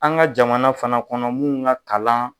An ka jamana fana kɔnɔ minnu ka kalan